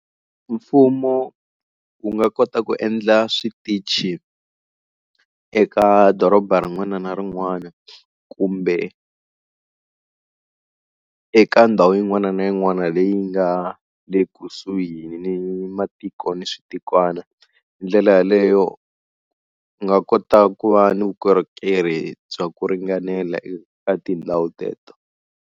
Mfumo wu nga kota ku endla switichi eka doroba rin'wana na rin'wana kumbe eka ndhawu yin'wana na yin'wana na leyi nga le kusuhi ni matiko ni switikwana. Hi ndlela yaleyo u nga kota ku va ni vukorhokeri bya ku ringanela eka tindhawu teto.